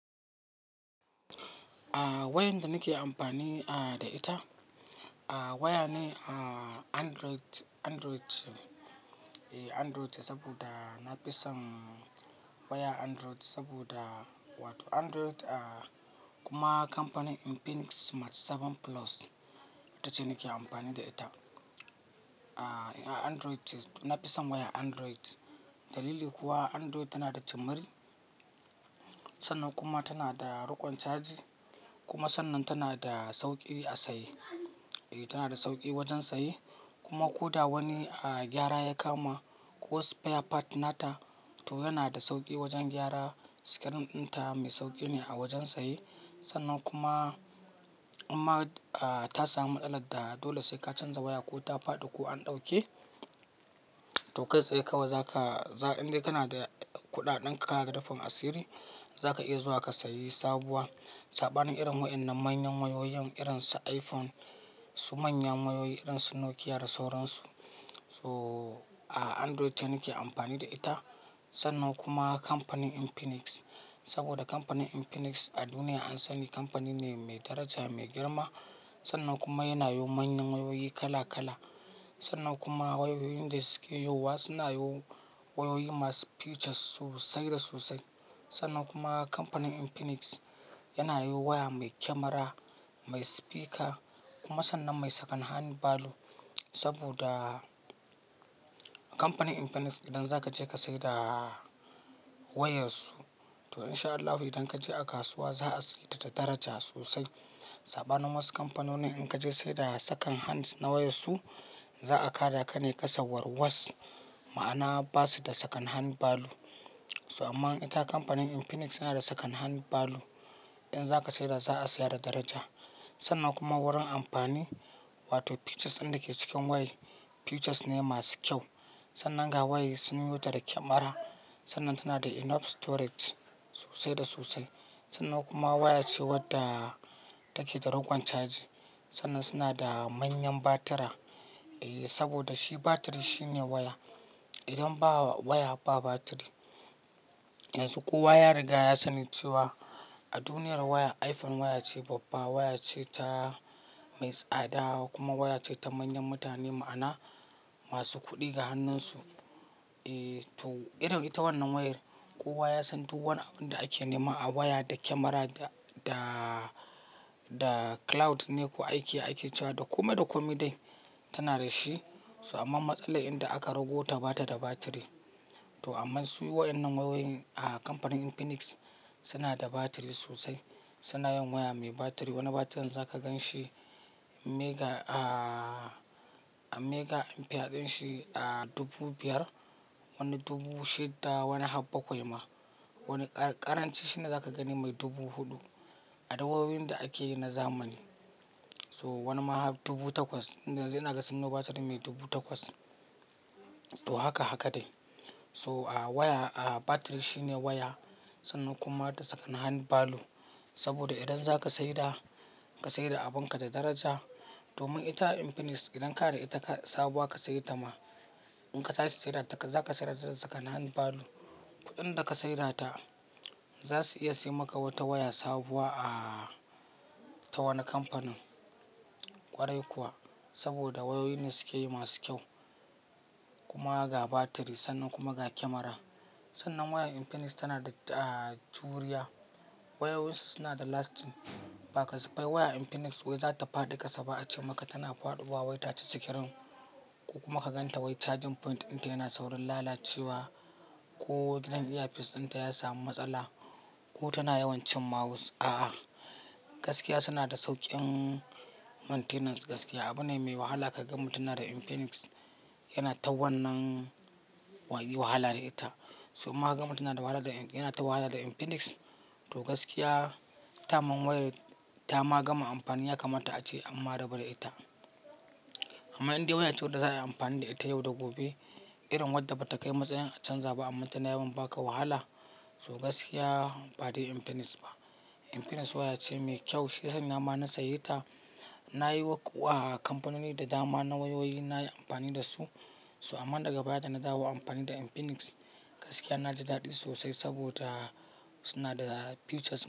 Wayanda nake amfani da ita waya ne Android, Android ce saboda na fi son wayar Android saboda wato Android kuma kamfanin Infinix Smart 7 Plus itace nake amfani da ita. Android, na fi son wayar Android. Dalili kuwa Android tana da cimiri sannan kuma tana da rukon caji kuma sannan tana da sauƙi a saye. E tana da sauƙi wajen saye kuma ko da wani gyara ya kama ko spare part nata to yana da sauƙi wajen gyara. Screen ɗinta mai sauƙi ne a wajen saye sannan kuma inma ta samu matsaladda dole sai ka canza waya ko ta faɗi ko an ɗauke, to kai tsaye kawai za ka, indai kana da kuɗaɗen ka da rufin asiri za ka iya zuwa ka sayi sabuwa. Saɓanin irin wadannan manyan wayoyin irin su iPhone, su manyan wayoyi irin su Nokia da sauran su. So Android ce nake amfani da ita sannan kuma kamfanin Infinix saboda kamfanin Infinix a duniya an sani kamfani ne mai daraja mai girma. Sannan kuma yana yo manyan wayoyi kala kala. Sannan kuma wayoyin da suke yowa suna yo wayoyi masu features sosai da sosai. Sannan kuma kamfanin Infinix yana yo waya mai kyamara, mai speaker kuma sannan mai second hand value saboda kamfanin Infinix idan zaka je ka saida wayar su to in sha Allahu idan ka je a kasuwa za a sayeta da daraja sosai. Saɓanin wasu kamfanonin in ka je saida second hands na wayar su za a ka da ka ne ƙasa warwas, ma'ana ba su da second hand value. So amma ita kamfanin Infinix yana da second hand value. Idan zaka saida za a saya da daraja sannan kuma wurin amfani wato features ɗin da ke cikin wayai features ne masu kyau. Sannan ga wayai sun yota da kyamara. Sannan tana da enough storage sosai da sosai. Sannan kuma waya ce wadda take da ruƙon caji. Sannan suna da manyan batira saboda shi batiri shine waya. Idan ba waya ba batiri. Yanzu kowa ya riga ya sani cewa a duniyar waya iPhone waya ce babba, waya ce ta mai tsada kuma waya ce ta manyan mutane ma'ana masu kuɗi ga hannun su. Eh to irin ita wannan wayar kowa ya san duk wani abun da ake nema a waya da kyamara da da cloud ne ko aiki ake cewa da kome da kome dai tana da shi. So amma matsalar inda aka rago ta bata da batiri. To amma su waɗannan wayoyin a kamfanin Infinix suna da batiri sosai. Suna yin waya mai batiri. Wani batirin zaka gan shi mega, a mega ampere ɗin shi a dubu biyar wani dubu shidda wani habbakwai ma. Wani ƙaranci shi ne zaka gani mai dubu huɗu adu wayoyin da ake yi na zamani. So wani ma har dubu takwas. Inda yanzu inaga sunyo batiri mai dubu takwas. To haka haka dai. So a waya a batiri shine waya sannan kuma da second hand value saboda idan zaka saida, ka saida abun ka da daraja domin ita Infinix idan kada ita sabuwa ka sayi ta ma in ka tashi saidata za ka sayar da second hand value. Kuɗin da ka saida ta za su iya sai maka wata waya sabuwa a ta wani kamfanin ƙwarai kuwa saboda wayoyi ne suke yi masu kyau kuma ga batiri sannan kuma ga kyamara. Sannan waya Infinix tana da juriya. Wayoyin su suna da lasting. Ba ka siffai waya Infinix wai za ta faɗi ƙasa ba ace maka tana faɗuwa wai ta ci screen ko kuma ka gan ta wai charging point ɗin ta yana saurin lalacewa ko idan ear piece ɗin ta ya samu matsala ko tana yawan cin mawus, a'a. Gaskiya suna da sauƙin maintenance gaskiya. Abu ne mai wahala ka ga mutum yana da Infinix yana ta wannan waye wahala da ita. So imma ka gama mutum na da wahala da yana ta wahala da Infinix to gaskiya ta mun wayar, ta ma gama amfani ya kamata a ce amma rabu da ita. Amma indai waya ce wadda za a yi amfani da ita yau da gobe irin wadda bata kai matsayin a canza ba amma tana yawan ba ka wahala. So gaskiya ba dai Infinix ba. Infinix waya ce mai kyau. Shi yasanya ma na saye ta. Na yi waƙa a kamfanoni da dama na wayoyi na yi amfani da su. So amma daga baya da na dawo amfani da Infinix, gaskiya na ji daɗi sosai saboda suna da features.